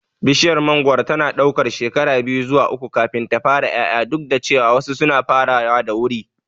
Bishiyar mangoro tana ɗaukar shekara biyu zuwa uku kafin ta fara ƴaƴa, duk da cewa wasu suna farawa da wuri.